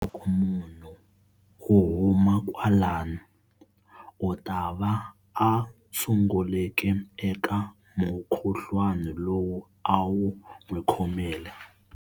Loko munhu u huma kwalani u ta va a tshungulekile eka mukhuhlwana lowu a wu n'wi khomile.